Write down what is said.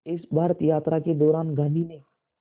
इस भारत यात्रा के दौरान गांधी ने